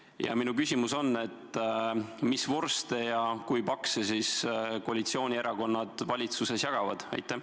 Ja minu küsimus on: mis vorste ja kui pakse siis koalitsioonierakonnad valitsuses jagavad?